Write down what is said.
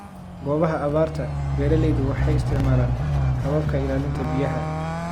Goobaha abaarta, beeralaydu waxay isticmaalaan hababka ilaalinta biyaha.